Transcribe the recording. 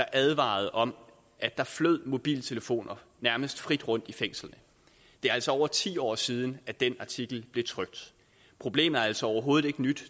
advarede om at der flød mobiltelefoner nærmest frit rundt i fængslerne det er altså over ti år siden at den artikel blev trykt problemet er altså overhovedet ikke nyt